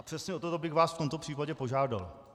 A přesně o toto bych vás v tomto případě požádal.